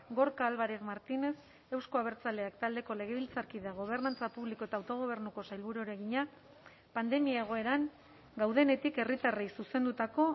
gorka álvarez martínez euzko abertzaleak taldeko legebiltzarkideak gobernantza publiko eta autogobernuko sailburuari egina pandemia egoeran gaudenetik herritarrei zuzendutako